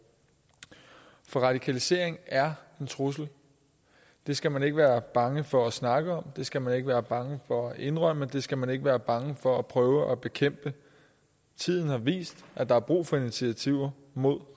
for radikalisering er en trussel det skal man ikke være bange for at snakke om det skal man ikke være bange for at indrømme det skal man ikke være bange for at prøve at bekæmpe tiden har vist at der er brug for initiativer mod